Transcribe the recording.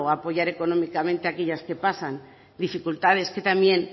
apoyar económicamente a aquellas que pasan dificultades que también